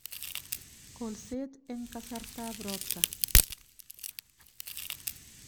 Kolset eng kasartab ropta